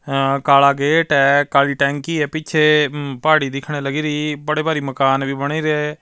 ਅ ਕਾਲਾ ਗੇਟ ਹੈ ਕਾਲੀ ਟੈਂਕੀ ਹੈ ਪਿੱਛੇ ਪਹਾੜੀ ਦਿਖਣੇ ਲਗੀ ਰਹੀ ਬੜੇ ਭਾਰੀ ਮਕਾਨ ਵੀ ਬਣੇ ਰਹੇ।